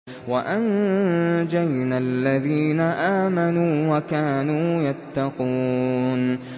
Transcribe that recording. وَأَنجَيْنَا الَّذِينَ آمَنُوا وَكَانُوا يَتَّقُونَ